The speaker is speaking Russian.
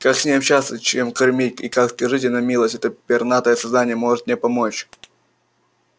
как с ней общаться чем кормить и как скажите на милость это пернатое создание может мне помочь